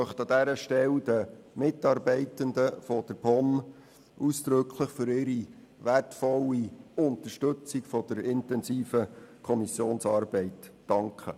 An dieser Stelle möchte ich den Mitarbeitenden der POM ausdrücklich für ihre wertvolle Unterstützung der intensiven Kommissionsarbeit danken.